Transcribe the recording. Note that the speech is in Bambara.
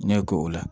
N'i ye ko o la